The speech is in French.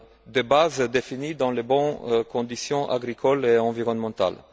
de base définies dans les bonnes conditions agricoles et environnementales.